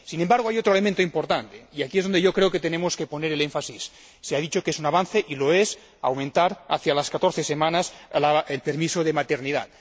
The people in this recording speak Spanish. Sin embargo, hay otro elemento importante, y aquí es donde yo creo que tenemos que poner el énfasis. Se ha dicho que es un avance —y lo es— aumentar a 14 semanas el permiso de maternidad.